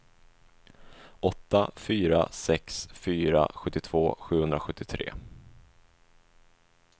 åtta fyra sex fyra sjuttiotvå sjuhundrasjuttiotre